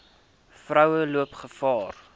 vroue loop gevaar